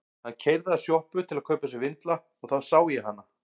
Hann keyrði að sjoppu til að kaupa sér vindla og þá sá ég hana.